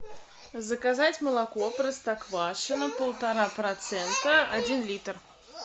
заказать молоко простоквашино полтора процента один литр